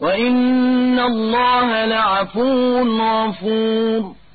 وَإِنَّ اللَّهَ لَعَفُوٌّ غَفُورٌ